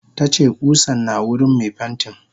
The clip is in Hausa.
Tace kusan na wurin me pentin.